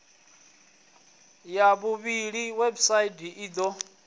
ya vhuvhili website i do